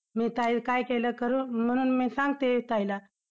मी ताई काय केलं, करु म्हणून मी सांगते ताईला.